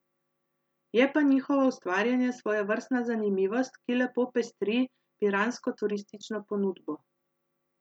Je pa njihovo ustvarjanje svojevrstna zanimivost, ki lepo pestri piransko turistično ponudbo.